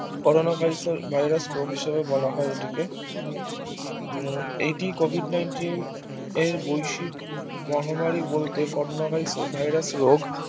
Corona Virus রোগ হিসাবে বলা হয় এটিকে এটি Covid Nineteen এর বৈশ্বিক মহামারি বলতে Corona Virus রোগ